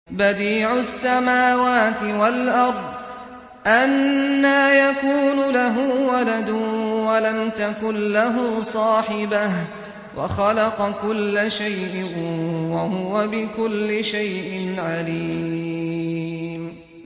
بَدِيعُ السَّمَاوَاتِ وَالْأَرْضِ ۖ أَنَّىٰ يَكُونُ لَهُ وَلَدٌ وَلَمْ تَكُن لَّهُ صَاحِبَةٌ ۖ وَخَلَقَ كُلَّ شَيْءٍ ۖ وَهُوَ بِكُلِّ شَيْءٍ عَلِيمٌ